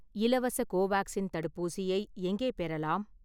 இலவச கோவேக்சின் தடுப்பூசியை எங்கே பெறலாம்?